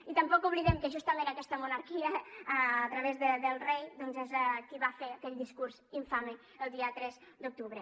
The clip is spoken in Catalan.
i tampoc oblidem que justament aquesta monarquia a través del rei doncs és qui va fer aquell discurs infame el dia tres d’octubre